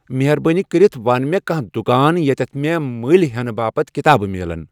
مہربٲنی کٔرِتھ ون مے کانٛہہ دُۄکان ییتِیتھ مے مٔلۍ ہینہٕ باپتھ کِتابہٕ میٖلین ۔